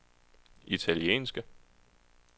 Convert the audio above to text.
italienske